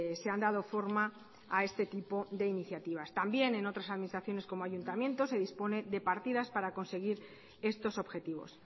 se han dado forma a este tipo de iniciativas también en otras administraciones como ayuntamientos se disponen de partidas para conseguir estos objetivos